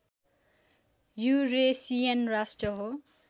Eurasian राष्ट्र हो